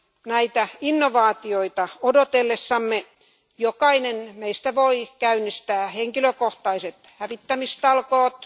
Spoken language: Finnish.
Näitä innovaatioita odotellessamme jokainen meistä voi käynnistää henkilökohtaiset hävittämistalkoot.